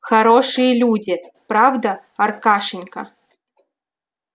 хорошие люди правда аркашенька